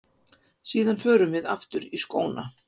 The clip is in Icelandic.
Síðan förum við aftur í skóna.